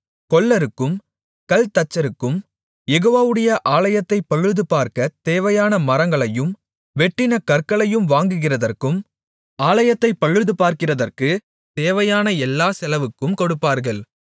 கொல்லருக்கும் கல்தச்சருக்கும் யெகோவாவுடைய ஆலயத்தைப் பழுதுபார்க்கத் தேவையான மரங்களையும் வெட்டின கற்களையும் வாங்குகிறதற்கும் ஆலயத்தைப் பழுதுபார்க்கிறதற்குத் தேவையான எல்லாச் செலவுக்கும் கொடுப்பார்கள்